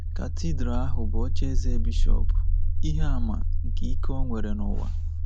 Katidral ahụ bụ ocheeze bishọp, ihe àmà nke ike o nwere n’ụwa.